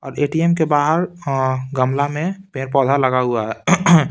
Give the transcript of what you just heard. ATM के बाहर गमला में पेड़ पौधा लगा हुआ है।